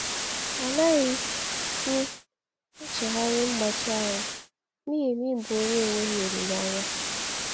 “Anaghị m echegharị mgbachi ahụ n’ihi na ị bụ onye enweghị olileanya.”